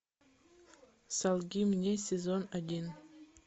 солги мне сезон один